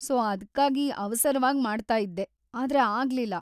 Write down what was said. So ಅದ್ಕಾಗಿ ಅವಸರವಾಗಿ ಮಾಡ್ತಾಇದ್ದೆ, ಆದ್ರೆ ಆಗ್ಲಿಲ್ಲ.